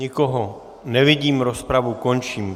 Nikoho nevidím, rozpravu končím.